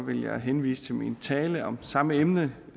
vil jeg henvise til min tale om samme emne